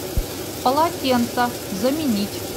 полотенца заменить